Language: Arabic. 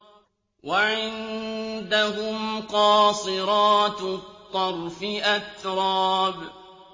۞ وَعِندَهُمْ قَاصِرَاتُ الطَّرْفِ أَتْرَابٌ